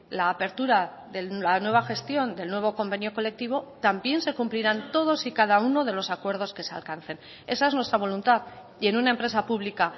la apertura de la nueva gestión del nuevo convenio colectivo también se cumplirán todos y cada uno de los acuerdos que se alcancen esa es nuestra voluntad y en una empresa pública